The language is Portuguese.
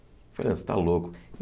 Eu falei, você está louco.